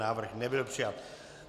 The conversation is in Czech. Návrh nebyl přijat.